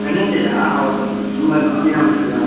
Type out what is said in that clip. Wednesday ಯಾ ಅವಾಗ್ ಸುಮಾರ್ ದಿನ ಉಂಟಲ್ವಾ.